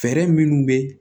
Fɛɛrɛ minnu bɛ